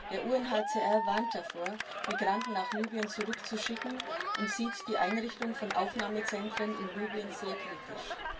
Der UNHCR warnt davor, Migranten nach Libyen zurückzuschicken, und sieht die Einrichtung von Aufnahmezentren in Libyen sehr kritisch.